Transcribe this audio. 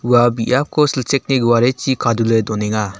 ua biapko silchekni guarechi kadule donenga.